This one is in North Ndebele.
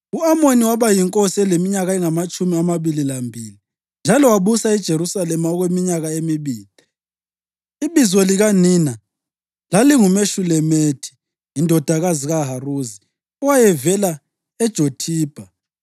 U-Amoni waba yinkosi eleminyaka engamatshumi amabili lambili, njalo wabusa eJerusalema okweminyaka emibili. Ibizo likanina lalinguMeshulemethi indodakazi kaHaruzi; owayevela eJothibha.